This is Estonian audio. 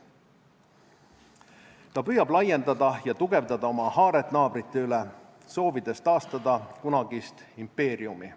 Ta püüab laiendada ja tugevdada oma haaret naabrite üle, soovides taastada kunagist impeeriumi.